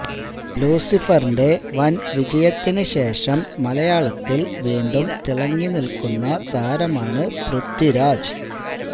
ലൂസിഫറിന്റെ വന് വിജയത്തിന് ശേഷം മലയാളത്തില് വീണ്ടും തിളങ്ങിനില്ക്കുന്ന താരമാണ് പൃഥ്വിരാജ്